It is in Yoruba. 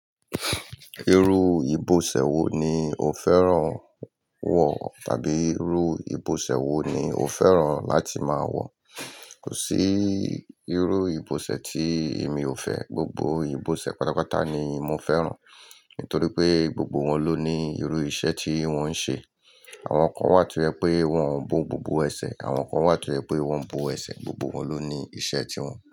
Irú ìbọ̀sẹ̀ wo ni o fẹ́ràn wọ̀? Tàbí irú ìbọ̀sẹ̀ wo ni o fẹ́ràn láti máa wọ̀? Kò sí irú ìbọ̀sẹ̀ tí èmi ò fẹ́. Gbogbo ìbọ̀sẹ̀ pátápátá ni mo fẹ́ràn. Nítorí pé, gbogbo wọn ló ní irú iṣẹ́ tí wọ́n ń ṣe. Àwọn kan wà to ye pé wọ́n ń bo gbogbo ẹsẹ̀, àwọn kan wà to yẹ pé wọ́n ń bo ẹsẹ̀. Gbogbo wọn ló ní iṣẹ́ tiwọn.